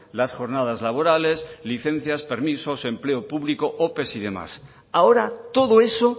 las jornadas laborales licencias permisos empleo público ope y demás ahora todo eso